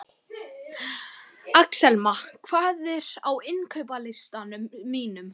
Axelma, hvað er á innkaupalistanum mínum?